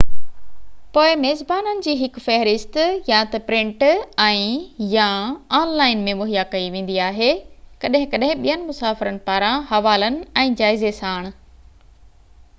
پوءِ ميزبانن جي هڪ فهرست يا ته پرنٽ ۽/يا آن لائن ۾ مهيا ڪئي ويندي آهي، ڪڏهن ڪڏهن ٻين مسافرن پاران حوالن ۽ جائزي ساڻ